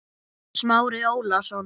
Smári Ólason.